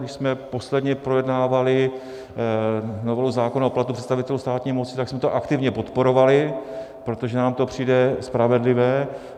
Když jsme posledně projednávali novelu zákona o platu představitelů státní moci, tak jsme to aktivně podporovali, protože nám to přijde spravedlivé.